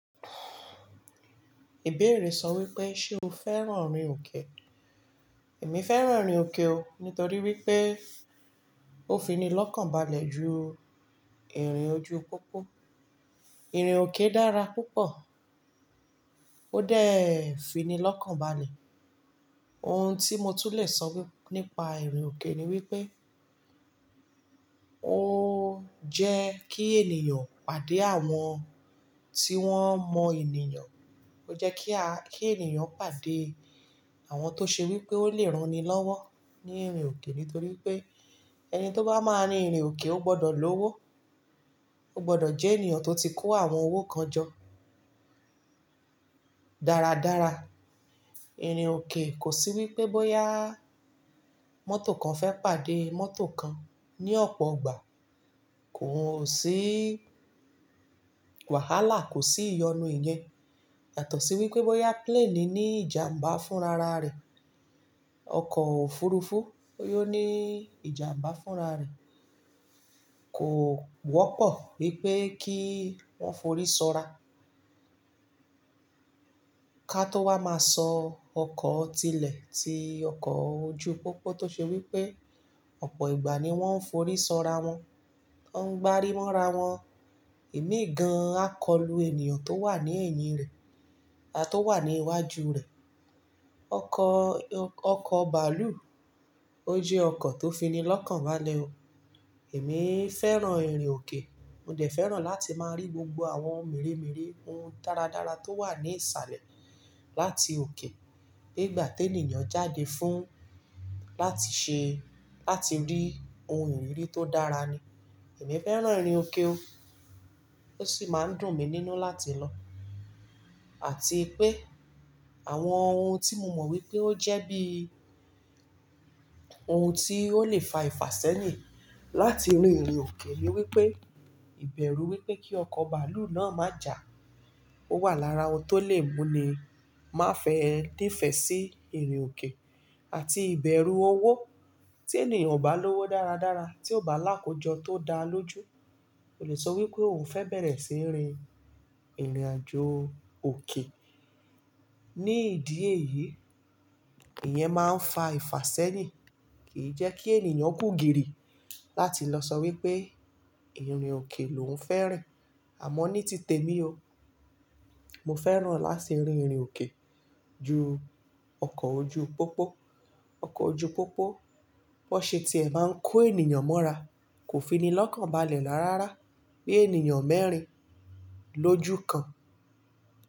Ìbéèrè sọ wípé ṣé o fẹ́ràn ìrìn òkè? Èmi fẹ́ràn ìrìn òkè o nítorí wípé ó fini lọ́kàn balẹ̀ ju ìrìn ojú pópó. Ìrìn òkè dára púpọ̀, ó dèé fini lọ́kàn balẹ̀. Ohun tí mo tún le sọ wíp-- nípa ìrìn òkè ni wípé o jẹ́ kí ènìyàn pàdé àwọn tí wón mọ ènìyàn. Ó jẹ́ kí a-- kí ènìyàn pàdé àwọn tó ṣe wípé ó lè rani lọ́wọ́ ní ìrìn òkè nítorí pé ẹni tó bá máa rin ìrìn òkè ó gbọdọ̀ lówó, ó gbọdọ̀ jẹ́ ènìyàn tó ti kó àwọn owó kan jọ dáradára. Ìrìn òkè kò sí wípé bóyá mọ́tò kan fẹ́ pàdé mọ́tò kan ní ọ̀pọ̀ ìgbà, kò sí wàhálà, kò sí ìyọnu ìyẹn. Yàtọ̀ sí wípé bóyá plane ní ìjàmbá fún rara rẹ̀, ọkọ̀ òfurufú boya oní ìjàmbá fún rara rẹ̀ kò wọ́pọ̀ wípé kí wọ́n forísọra. Ka tó wá máa sọ ọkọ̀ tilẹ̀ ti ọkọ̀ ojú pópó tó ṣe wípé ọ̀pọ̀ ìgbà ni wọ́n ń forísọra wọn, wọ́n ń gbárí mọ́ra wọn. Ìmí gan á kọlu ènìyàn tó wà ní èyìn rẹ̀ àtọ̀ wà ní iwájú rẹ̀. Ọkọ̀, ọkọ̀ bàálù ó jẹ́ ọkọ̀ tó fini lọ́kàn balẹ̀ o. Èmi fẹ́ràn ìrìn òkè, mo dẹ̀ fẹ́ràn láti máa rí gbogbo àwọn meremere ohun dáradára tó wà ní ìsàlẹ̀ láti òkè. Nígbà tí ènìyàn jáde fún láti ṣẹ, láti rí ohun ìríri tó dára ni. Èmi fẹ́ràn ìrìn òkè o, ó sì máa ń dùn mí nínú láti lọ. Àti pé àwọn ohun tí mo mọ̀ wípé ó jẹ́ bí ohun tí ó lè fa ìfàsẹ́yìn láti rìn ìrìn òkè ni wípé ìbẹ̀rú wípé kí ọkọ̀ bàálù náà má jà, ó wà lára ohun tó lè mú ni má fẹ́ nífẹ̀ sí ìrìn òkè àti ìbẹ̀rú owó. Tí ènìyàn ò bá lówó dáradára, tí ó bá làákójọ tó dáa lójú, ko le sọ wípé òun fẹ́ bẹ̀rẹ̀ sí írin ìrìnàjò òkè. Ní ìdí èyí, ìyẹn máa ń fa ìfàsẹ́yìn, kìí jẹ́ kí ènìyàn kú gìrì láti lọ sọ wípé ìrìn òkè lòún fẹ́ rìn. Àmọ́ ní titẹ mi o, mo fẹ́ràn láti rìn ìrìn òkè ju ọkọ̀ ojú pópó. Ọkọ̀ ojú pópó, bó ṣe tí ẹ máa ń kó ènìyàn mọ́ra kò fini lọ́kàn balẹ̀ rára rárá bí ènìyàn mẹ́rin lójú kan.